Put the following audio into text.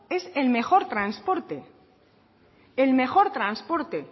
es el mejor transporte